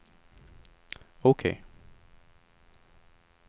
OK